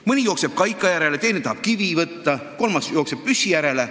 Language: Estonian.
Mõni jookseb kaika järele, teine tahab kivi võtta, kolmas jookseb püssi järele.